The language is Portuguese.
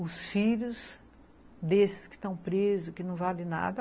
os filhos desses que estão presos, que não vale nada.